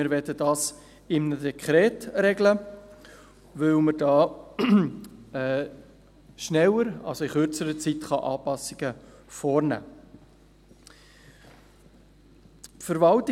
Wir sagten, dass wir es neu in einem Dekret regeln möchten, weil man dadurch innert kürzerer Zeit Anpassungen vornehmen kann.